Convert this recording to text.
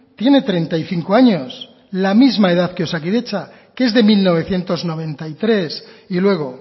tiene treinta y cinco años la misma edad que osakidetza que es de mil novecientos noventa y tres y luego